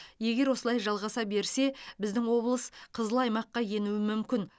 егер осылай жалғаса берсе біздің облыс қызыл аймаққа енуі мүмкін